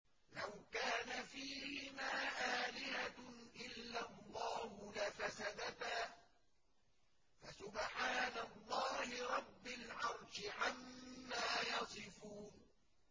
لَوْ كَانَ فِيهِمَا آلِهَةٌ إِلَّا اللَّهُ لَفَسَدَتَا ۚ فَسُبْحَانَ اللَّهِ رَبِّ الْعَرْشِ عَمَّا يَصِفُونَ